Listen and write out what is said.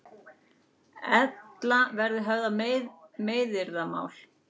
Ella verði höfðað meiðyrðamál